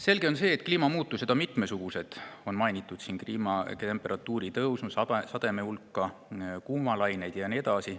Selge on see, et kliimamuutusi on mitmesuguseid, on mainitud temperatuuri tõusu, sademete hulka, kuumalaineid ja nii edasi.